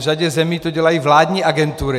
V řadě zemí to dělají vládní agentury.